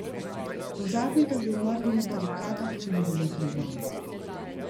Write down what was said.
Do zadnjega bi umrli na barikadah, če bi bilo treba.